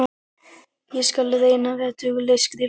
Ég skal reyna að vera dugleg, skrifar hún.